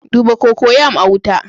Duba cocoyam a wuta